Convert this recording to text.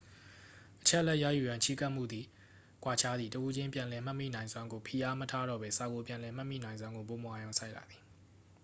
အချက်အလက်ရယူရန် ချဉ်းကပ်မှုသည် ကွာခြားသည် တဦးချင်းပြန်လည်မှတ်မိနိုင်စွမ်းကို ဖိအားမထားတော့ပဲ စာကို ပြန်လည်မှတ်မိနိုင်စွမ်းကို ပိုမိုအာရုံစိုက်လာသည်